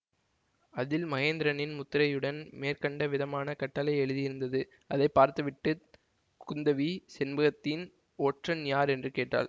அதில் மகேந்திரனின் முத்திரையுடன் மேற்கண்ட விதமான கட்டளை எழுதியிருந்தது அதை பார்த்துவிட்டுக் குந்தவி செண்பகதீன் ஒற்றன் யார் என்று கேட்டாள்